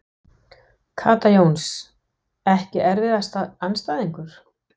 Kata Jóns Ekki erfiðasti andstæðingur?